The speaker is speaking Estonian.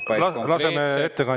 Laseme ettekandjal lõpuni rääkida!